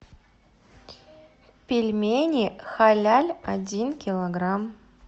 пельмени халяль один килограмм